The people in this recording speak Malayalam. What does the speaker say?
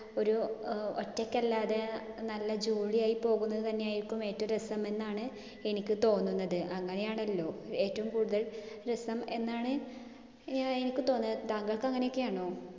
ഒരു അഹ് ഒറ്റക്കലാതെ നല്ല jolly ആയി പോകുന്നത് തന്നെയായിരിക്കും ഏറ്റോം രസം എന്നാണ് എനിക്ക് തോന്നുന്നത്. അങ്ങനെയാണല്ലോ. ഏറ്റവും കൂടുതൽ രസം എന്നാണ് ഏർ എനിക്ക് തോന്നുന്നത്. താങ്കൾക് അങ്ങിനെയൊക്കെ ആണോ?